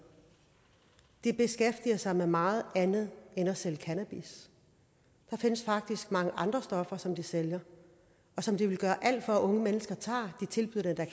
de beskæftiger sig med meget andet end at sælge cannabis der findes faktisk mange andre stoffer som de sælger og som de vil gøre alt for at unge mennesker tager de tilbyder det